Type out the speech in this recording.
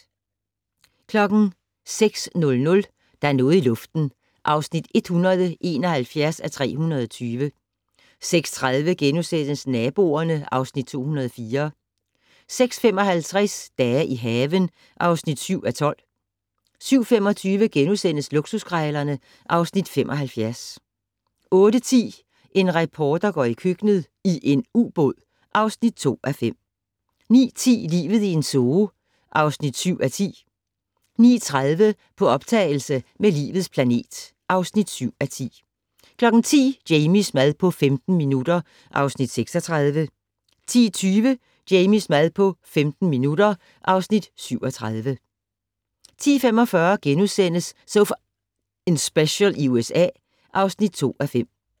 06:00: Der er noget i luften (171:320) 06:30: Naboerne (Afs. 204)* 06:55: Dage i haven (7:12) 07:25: Luksuskrejlerne (Afs. 75)* 08:10: En reporter går i køkkenet - i en ubåd (2:5) 09:10: Livet i en zoo (7:10) 09:30: På optagelse med Livets planet (7:10) 10:00: Jamies mad på 15 minutter (Afs. 36) 10:20: Jamies mad på 15 minutter (Afs. 37) 10:45: So F***ing Special i USA (2:5)*